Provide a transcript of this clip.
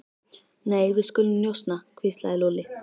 Nei, við skulum njósna hvíslaði Lúlli.